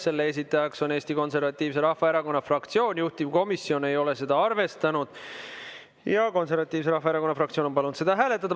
Selle esitajaks on Eesti Konservatiivse Rahvaerakonna fraktsioon, juhtivkomisjon ei ole seda arvestanud ja Konservatiivse Rahvaerakonna fraktsioon on palunud seda hääletada.